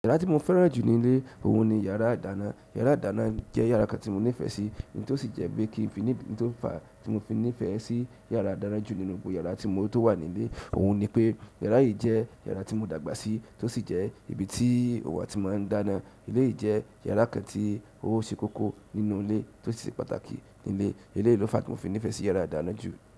Yàrá tí mo fẹ́ràn jù nílé, òun ni yàrá àdáná. Yàrá àdáná jẹ́ yàrá kan tí mo nífẹ̀ẹ́ sí, èyí tó sì jẹ́ bí i kí n fi ní, ohun tó fà á tí mo fi nífẹ̀ẹ́ sí yàrá àdáná jù nínú gbogbo yàrá tí mo tó wà nílé òun ni pé yàrá yìí jẹ́ yàrá tí mo dàgbà sí, tó sì jẹ́ ibi tí òò wà ti máa ń dáná. Ilé yìí jẹ́ yàrá kan tí ó ṣe kókó nínú ilé, tó sì ṣe pàtàkì nílé. Eleyií ló fà á tí mo fi nífẹ̀ẹ́ sí yàrá ìdáná jù.